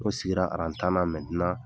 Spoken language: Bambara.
N'o sigira aran tan na